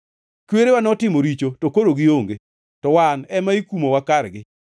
Kwerewa notimo richo, to koro gionge, to wan ema ikumowa kargi.